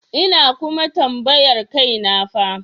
Ina kuma tambayar kaina fa.